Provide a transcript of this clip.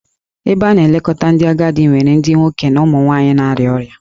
Ebe a na-elekọta ndị agadi nwere ndị nwoke na ụmụ nwanyị na-arịa ọrịa